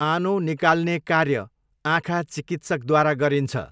आनो निकाल्ने कार्य आँखा चिकित्सकद्वारा गरिन्छ।